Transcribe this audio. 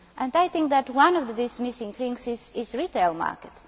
I think that one of these missing links is the retail market.